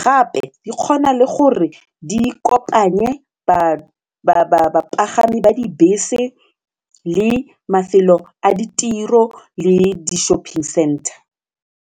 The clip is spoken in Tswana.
gape di kgona le gore di kopanye bapagami ba dibese le mafelo a ditiro le di-shopping center.